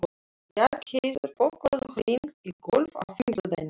Bjargheiður, bókaðu hring í golf á fimmtudaginn.